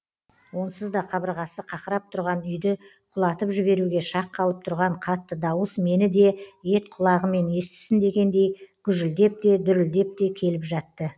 онсызда қабырғасы қақырап тұрған үйді құлатып жіберуге шақ қалып тұрған қатты дауыс мені де ет құлағымен естісін дегендей гүжілдеп те дүрілдеп те келіп жатты